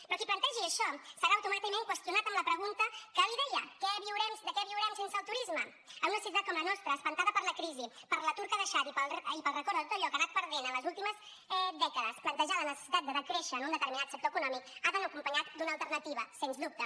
però qui plantegi això serà automàticament qüestionat amb la pregunta que li deia de què viurem sense el turisme en una ciutat com la nostra espantada per la crisi per l’atur que ha deixat i pel record de tot allò que ha anat perdent en les últimes dècades plantejar la necessitat de decréixer en un determinat sector econòmic ha d’anar acompanyat d’una alternativa sens dubte